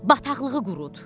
Bataqlığı qurud.